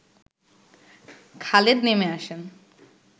খালেদ নেমে আসেন